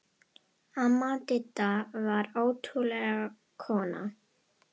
Amma Didda var ótrúleg kona.